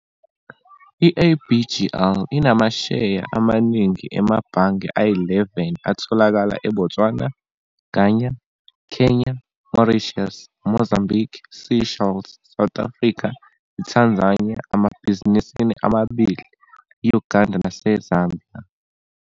I-ABGL inamasheya amaningi emabhange ayi-11 atholakala eBotswana, Ghana, Kenya, Mauritius, Mozambique, Seychelles, South Africa, Tanzania, amabhizinisi amabili, Uganda naseZambia.